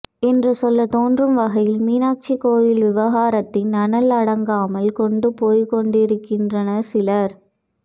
என்று சொல்ல தோண்றும் வகையில் மீனாட்சி கோயில் விவகாரத்தின் அனல் அடங்காமல் கொண்டு போய்க் கொண்டிருக்கின்றனர் சிலர்